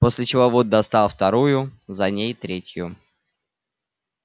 после чего вуд достал вторую за ней третью